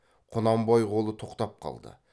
құнанбай қолы тоқтап қалды